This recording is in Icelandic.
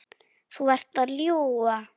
Þú ert að ljúga!